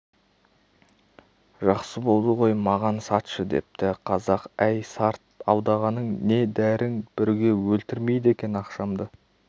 жақсы болды ғой маған сатшы депті қазақ әй сарт алдағаның не дәрің бүрге өлтірмейді екен ақшамды